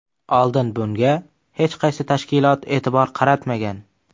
Oldin bunga hech qaysi tashkilot e’tibor qaratmagan.